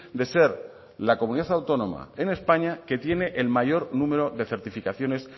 de ser la comunidad autónoma en españa que tiene el mayor número de certificaciones